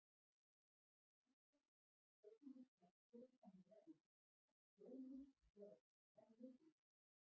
Enn fremur getum við flest verið sammála um að sjónin er okkur hvað mikilvægust.